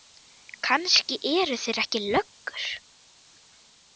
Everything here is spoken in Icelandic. Kannski eru þeir ekki löggur.